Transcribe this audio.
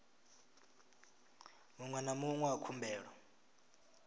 muṅwe na muṅwe wa khumbelo